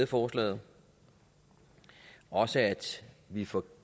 forslaget og også at vi får